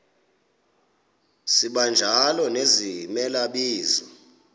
sibanjalo nezimela bizo